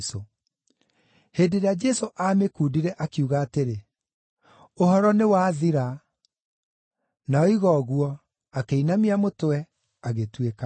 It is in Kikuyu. Hĩndĩ ĩrĩa Jesũ aamĩkundire, akiuga atĩrĩ, “Ũhoro nĩwathira.” Na oiga ũguo, akĩinamia mũtwe, agĩtuĩkana.